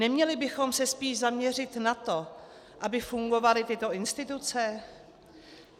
Neměli bychom se spíš zaměřit na to, aby fungovaly tyto instituce?